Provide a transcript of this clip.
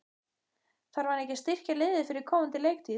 Þarf hann ekki að styrkja liðið fyrir komandi leiktíð?